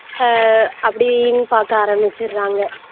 ஆஹ் அப்படின்னு பாக்க ஆரமிச்சுடுறாங்க